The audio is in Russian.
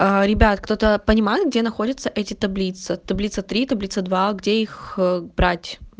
а ребята кто-то понимает где находится эти таблицы таблица три таблица два где их брать